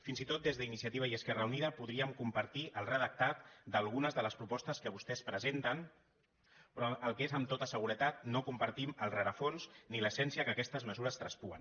fins i tot des d’iniciativa i esquerra unida podríem compartir el redactat d’algunes de les propostes que vostès presenten però el que amb tota seguretat no compartim és el rerefons ni l’essència que aquestes mesures traspuen